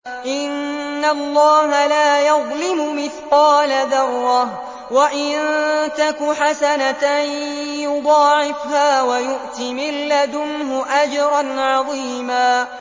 إِنَّ اللَّهَ لَا يَظْلِمُ مِثْقَالَ ذَرَّةٍ ۖ وَإِن تَكُ حَسَنَةً يُضَاعِفْهَا وَيُؤْتِ مِن لَّدُنْهُ أَجْرًا عَظِيمًا